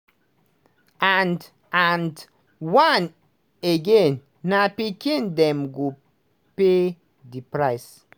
and and once again na pikin dem go pay di price.